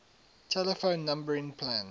telephone numbering plan